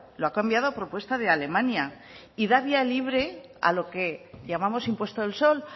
lo ha cambiado a propuesta de alemania y da vía libre a lo que llamamos impuesto del sol